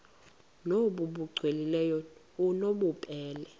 nbu cwengileyo obunobubele